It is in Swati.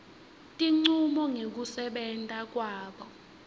tincumo ngekusebenta kwabo